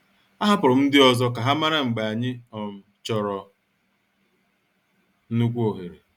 A hapụrụ m ndị ọzọ ka ha mara mgbe anyị um chọrọ nnukwu ohere.